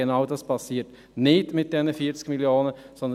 Genau dafür werden diese 40 Mio. Franken nicht eingesetzt.